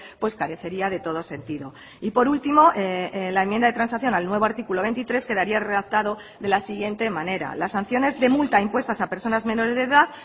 pues carecería de todo sentido y por último la enmienda de transacción al nuevo artículo veintitrés quedaría redactado de la siguiente manera las sanciones de multa impuestas a personas menores de edad